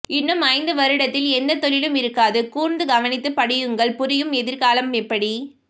இன்னும் ஐந்து வருடத்தில் எந்த தொழிலும் இருக்காது கூர்ந்து கவனித்துப் படியுங்கள்புரியும் எதிர்காலம் எப்படி